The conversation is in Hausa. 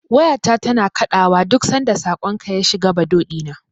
Wayata tana kaɗawa duk sanda saƙonka ya shiga Bado ɗina.